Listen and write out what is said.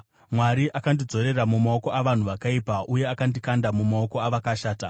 Mwari akandidzorera mumaoko avanhu vakaipa, uye akandikanda mumaoko avakashata.